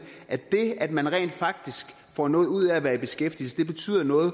at det at man rent faktisk får noget ud af at være i beskæftigelse betyder noget